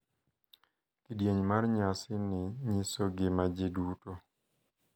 Kidieny mar nyasi ni nyiso gima ji duto,